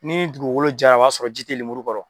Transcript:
N'i ye dugukolo ja, o b'a sɔrɔ ji tɛ lemuru kɔrɔ.